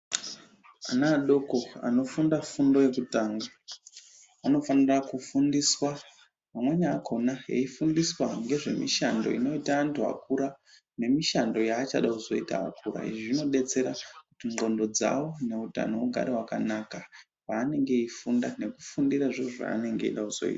Ana adoko anofunda fundo yekutanga, anofanira kufundiswa amweni akona eyifundiswa ngezvemishando inoita antu akura, nemishando yaachada kuzoita akura. Izvi zvinodetsera kuti ndxondo dzawo neutano hugare hwakanaka, paanenge eyifunda nekufundira zviro zvaanenge eyida kuzoita.